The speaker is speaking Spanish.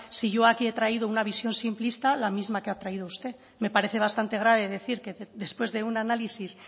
si yo aquí he traído una visión simplista la misma que ha traído usted me parece bastante grave decir que después de un análisis